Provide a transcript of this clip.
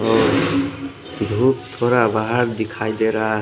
अ group थोडा बाहर दिखाई दे रहा है।